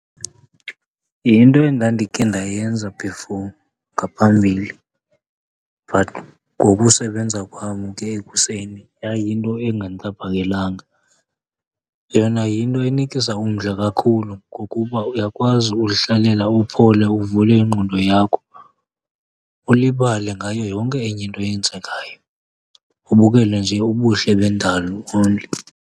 Yinto endandikhe ndayenza before ngaphambili but ngokusebenza kwam ke ekuseni yayinto engandixhaphakelanga. Yona yinto enikisa umdla kakhulu ngokuba uyakwazi uzihlalela uphole uvule ingqondo yakho, ulibale ngayo yonke enye into eyenzekayo ubukele nje ubuhle bendalo only.